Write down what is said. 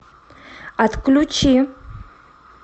отключи